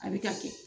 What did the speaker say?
A bɛ ka kɛ